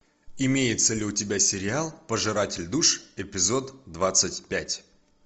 имеется ли у тебя сериал пожиратель душ эпизод двадцать пять